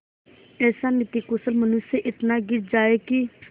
ऐसा नीतिकुशल मनुष्य इतना गिर जाए कि